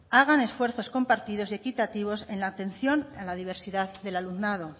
hagan esfuerzos compartidos y equitativos en la atención a la diversidad del alumnado